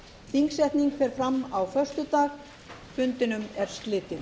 þingsetning fer fram á föstudag fundinum er slitið